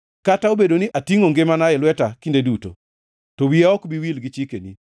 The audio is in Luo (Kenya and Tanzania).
Kata obedo ni atingʼo ngimana e lweta kinde duto, to wiya ok bi wil gi chikeni.